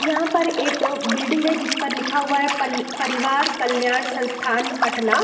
यहां पर एक बिल्डिंग है जिसमें लिखा हुआ है पल परिवार कल्याण संस्थान पटना।